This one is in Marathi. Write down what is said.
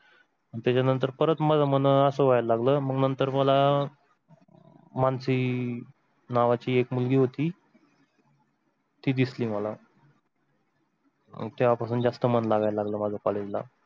आणि त्याच्या नंतर परत मला मग आस व्हायला लागल तर मला मानसी नावाची एक मुलगी होती ती दिसली मला. तेव्हा पासून जास्त मन लागायला लागला माझ college ला.